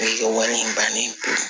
O ye wari in bannen ye